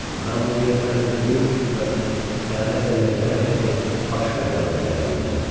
Mən onun yerinə öz böyük rütbəsini xəyanətlə ləkələməyəcək başqa bir adam təyin eləyəcəm.